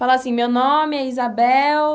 Fala assim, meu nome é Isabel...